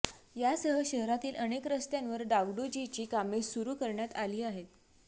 यासह शहरातील अनेक रस्त्यांवर डागडुजीची कामे सुरू करण्यात आली आहेत